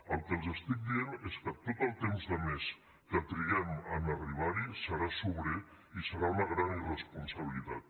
el que els estic dient és que tot el temps de més que triguem a arribar hi serà sobrer i serà una gran irresponsabilitat